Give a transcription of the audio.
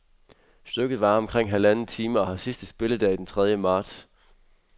Stykket varer omkring halvanden time og har sidste spilledag den tredie marts.